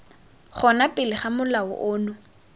gona pele ga molao ono